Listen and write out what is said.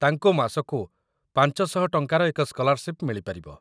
ତାଙ୍କୁ ମାସକୁ ୫୦୦ ଟଙ୍କାର ଏକ ସ୍କଲାରସିପ୍‌ ମିଳିପାରିବ |